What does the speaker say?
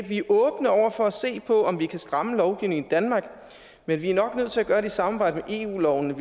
vi er åbne over for at se på om vi kan stramme lovgivningen i danmark men vi er nok nødt til at gøre det i samarbejde med eu lovene